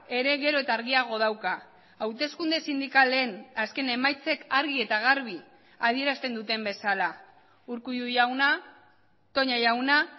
ere gero eta argiago dauka hauteskunde sindikalen azken emaitzek argi eta garbi adierazten duten bezala urkullu jauna toña jauna